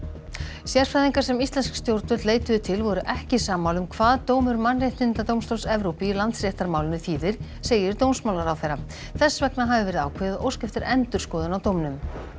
sérfræðingar sem íslensk stjórnvöld leituðu til voru ekki sammála um hvað dómur Mannréttindadómstóls Evrópu í Landsréttamálinu þýðir segir dómsmálaráðherra þess vegna hafi verið ákveðið að óska eftir endurskoðun á dómnum